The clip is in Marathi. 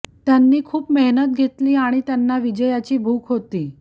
त्यांनी खूप मेहनत घेतली आणि त्यांना विजयाची भूक होती